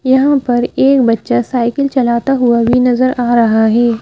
यहां पर एक बच्चा साइकिल चलाता हुआ भी नजर आ रहा है ।